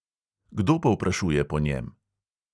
Kdo povprašuje po njem?